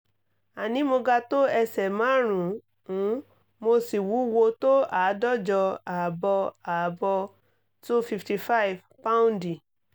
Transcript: àní mo ga tó ẹsẹ̀ márùn-ún mo sì wúwo tó àádọ́jọ ààbọ̀ ààbọ̀ two fifty five paù́ndì